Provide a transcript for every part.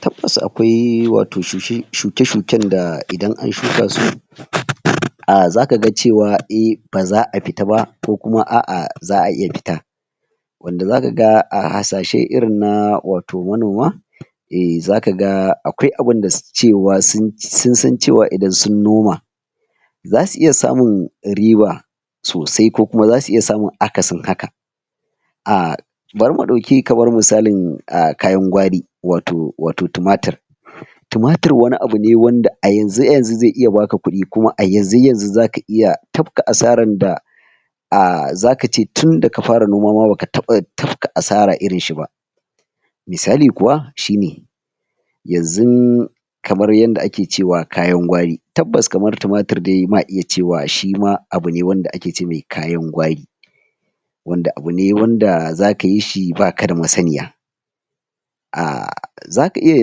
Tabbas akwai wato shuke-shuken da idan an shuka su zakaga cewa eh, baza a fita ba ko kums s'a'a za'a iya fita wanda zakaga a hasashe irin na wato manoma e, zakaga akwai abinda sunsan cewa idan sun noma zassu iya samun riba sosai ko kuma zasu iya samun akasin haka bari mu ɗauki kamar misalin kayan gwari wato tumatir. Tumatir wani abu ne wanda a yanzu-yanzu zai iya baka kudi kuma a yanzu-yanzu zaka iya tafka asaran da, zakaji tunda ka fara noma ma baka taɓa tafka asara irinshi ba misali kuwa shine yanzun kamar yanda ake cewa kayan gwari, tabbas kamar tumatir dai ma iya cewa shima abu ne wanda ake ce masa kayan gwari wanda abu ne wanda zakayi shi baka da masaniya zaka iya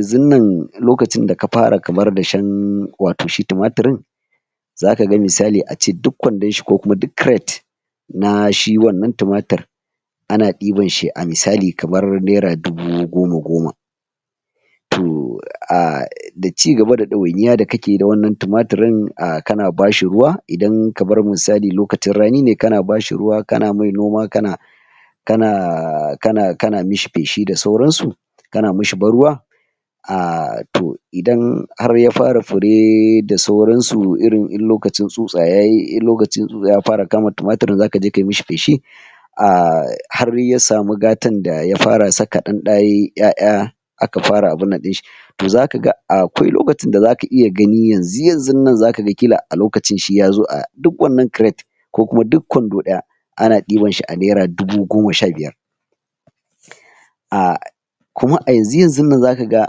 yanzun nan lokacin da ka fara kamar dashen wato shi tumatirin zakaga misali ace duk kwandon shi ko kuma duk kiret [crate] na shi wannan tumatirin, ana ɗibar shi a misali kamar naira dubu goma-goma to ciga da ɗawainiya da kakeyi da wannan tumatirin kana bashi ruwa idan kamar misali lokacin rani ne kana bashi ruwa, kana mishi noma, kana kana mishi feshi da sauransu kana mishi ban ruwa a to, idan har ya fara fure da sauransu, irin in lokacin tsutsa yayi, in lokacin tsutsa ya fara kama tumatirin zakaje kayi mishi feshi har ya sami gatan da ya fara saka ɗanɗa yayi ƴaƴa aka fara abin nan to zakaga, akwai lokacin da zaka iya gani yanzu yanzun nan zaka ƙila a lokacin shi yazo a duk wannan kiret ko kuma duk kwando ɗaya ana dibansa a naira dubu goma sha biyar kuma a yanzu yanzun nan zaka ga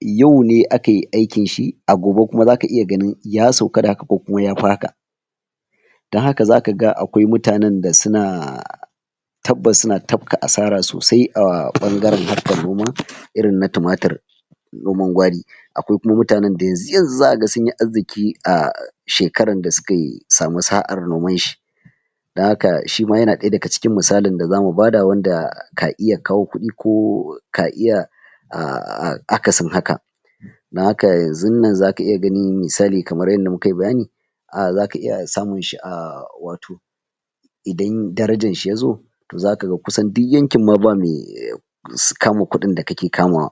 yau ne akayi aikinshi a gobe kuma zaka iya ganin ya sauka da haka ko yafi haka don haka zaka ga akwai mutanen da suna tabbas suna tafka asara sosai a ɓangaren harkar noma irin na tumatir noman gwari, akwai kuma mutanen da yanzu-yanzu zaka ga sunyi arzki aa shwkarar da sukayi suka sami sa'ar nomanshi don haka shima yana daga cikin misalin da zamu bada wanda ka iya kawo kudi ko ka iya akasin haka don haka yanzunnan zaka iya gani misali kamar yanda mukayi bayani zaka iya samunshi a wato idan darajarshi yazo zaka kusan duk yankin ma ba me kama kudin da kake kamawa